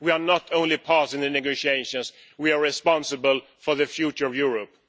We are not only part of the negotiations, we are responsible for the future of Europe.